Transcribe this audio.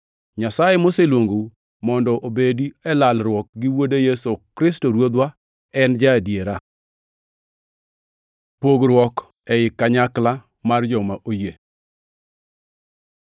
Nyasaye moseluongou mondo ubedi e lalruok gi Wuode Yesu Kristo Ruodhwa en ja-adiera. Pogruok ei kanyakla mar joma oyie